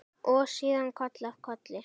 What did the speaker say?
Og síðan koll af kolli.